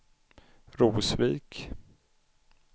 Rosvik